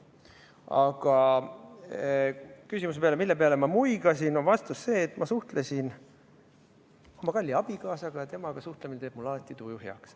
Aga küsimusele, mille peale ma muigasin, on vastus see, et ma suhtlesin oma kalli abikaasaga ja temaga suhtlemine teeb mul alati tuju heaks.